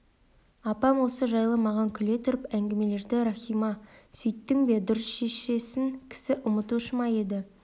апам осы жайды маған күле тұрып әңгімеледі рахима сөйттің бе дұрыс шешесін кісі ұмытушы ма еді